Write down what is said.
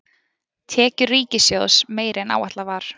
Tekjur ríkissjóðs meiri en áætlað var